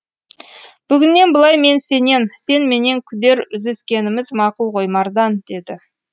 бүгіннен былай мен сенен сен менен күдер үзіскеніміз мақұл ғой мардан деді